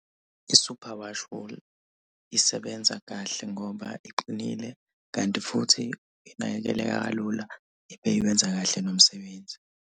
I-superwash wool isebenza kahle ngoba iqinile, kanti futhi inakeleleka kalula ibe iwenza kahle nomsebenzi.